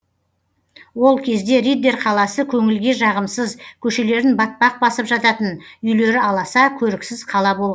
ол кезде риддер қаласы көңілге жағымсыз көшелерін батпақ басып жататын үйлері аласа көріксіз қала бол